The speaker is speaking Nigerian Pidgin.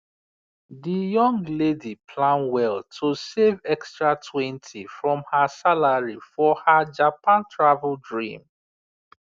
the young lady plan well to save extratwentyfrom her salary for her japan travel dream